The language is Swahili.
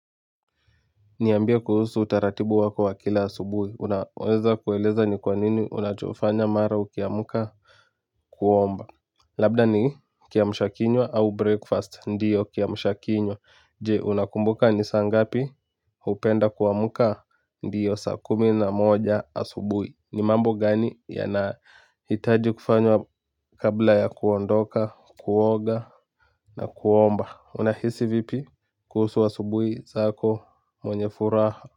Niambie kuhusu utaratibu wako wa kila asubui unaweza kueleza ni kwa nini unachofanya mara ukiamuka kuomba labda ni kiamshakinywa au breakfast ndiyo kiamshakinywa je unakumbuka ni saa ngapi hupenda kuamuka ndiyo saa kumi na moja asubui ni mambo gani yanahitaji kufanywa kabla ya kuondoka kuoga na kuomba unahisi vipi kuhusu asubui zako mwenye furaha.